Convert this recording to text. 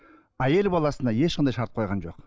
әйел баласына ешқандай шарт қойған жоқ